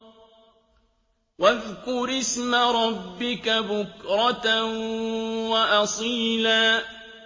وَاذْكُرِ اسْمَ رَبِّكَ بُكْرَةً وَأَصِيلًا